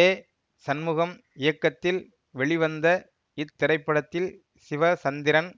ஏ சண்முகம் இயக்கத்தில் வெளிவந்த இத்திரைப்படத்தில் சிவசந்திரன்